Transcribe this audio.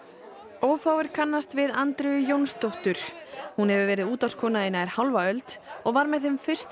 ófáir kannast við Andreu Jónsdóttur hún hefur verið í nær hálfa öld og var með þeim fyrstu